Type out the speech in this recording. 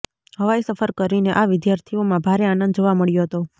હવાઇ સફર કરીને આ વિદ્યાર્થીઓમાં ભારે આનંદ જોવા મળ્યો હતો